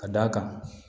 Ka d'a kan